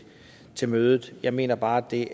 til mødet jeg mener bare at det